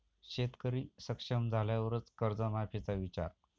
शेतकरी सक्षम झाल्यावरच कर्जमाफीचा विचार'